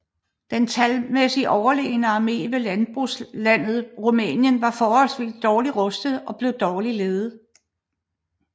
Den talmæssigt overlegne armé fra landbrugslandet Rumænien var forholdsvis dårligt udrustet og blev dårligt ledet